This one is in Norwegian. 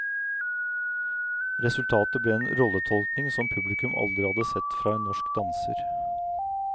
Resultatet ble en rolletolkning som publikum aldri hadde sett fra en norsk danser.